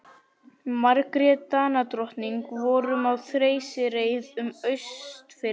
Margrét Danadrottning vorum á þeysireið um Austfirði.